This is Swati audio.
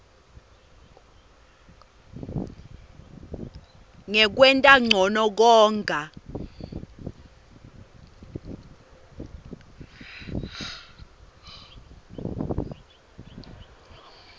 ngekwenta ncono konga